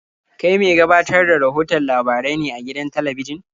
Kai me gabatar da rahoton labarai ne a gidan talabijin?